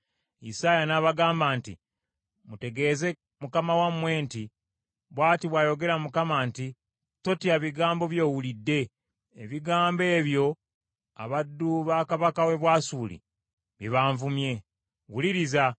Isaaya n’abagamba nti, “Mutegeeze mukama wammwe nti, ‘Bw’ati bw’ayogera Mukama nti, Ebigambo by’owulidde, abaddu ba kabaka w’e Bwasuli bye banvumye, tebikutiisa.